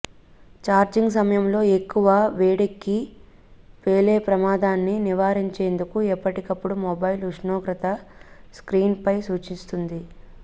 charging సమయంలో ఎక్కువ వేడెక్కి పేలేప్రమాదాన్ని నివారించేందుకు ఎప్పటికప్పుడు మొబైల్ ఉష్ణోగ్రత స్ర్కీన్పై సూచిస్తుంది